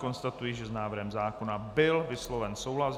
Konstatuji, že s návrhem zákona byl vysloven souhlas.